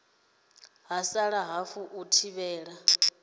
ha sala hafu u thivhela